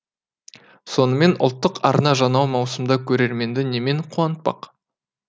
сонымен ұлттық арна жаңа маусымда көрерменді немен қуантпақ